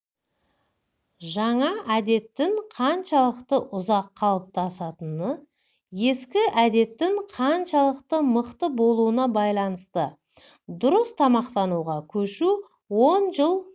жаңа әдеттің қаншалықты ұзақ қалыптасатыны ескі әдеттің қаншалықты мықты болуына байланысты дұрыс тамақтануға көшу он жыл